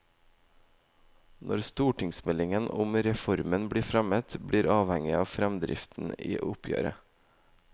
Når stortingsmeldingen om reformen blir fremmet, blir avhengig av fremdriften i oppgjøret.